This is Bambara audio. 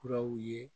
Kuraw ye